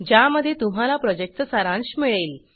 ज्यामध्ये तुम्हाला प्रॉजेक्टचा सारांश मिळेल